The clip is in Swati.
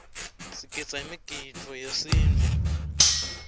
sigidza imigidvo yesintfu